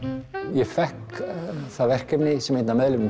ég fékk það verkefni sem einn af meðlimum